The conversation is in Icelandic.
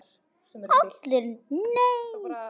ALLIR: Nei!